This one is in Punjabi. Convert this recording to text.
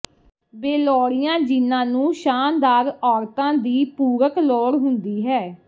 ਬੇਲੋੜੀਆਂ ਜੀਨਾਂ ਨੂੰ ਸ਼ਾਨਦਾਰ ਔਰਤਾਂ ਦੀ ਪੂਰਕ ਲੋੜ ਹੁੰਦੀ ਹੈ